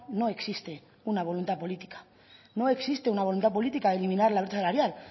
no existe una voluntad política no existe una voluntad política de eliminar la brecha salarial